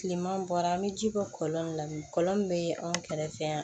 Tileman bɔra an bɛ ji bɔ kɔlɔn na bi kɔlɔn min bɛ anw kɛrɛfɛ yan